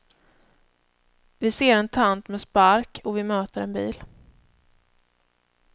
Vi ser en tant med spark och vi möter en bil.